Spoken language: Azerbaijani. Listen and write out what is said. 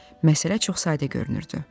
Məsələ çox sadə görünürdü.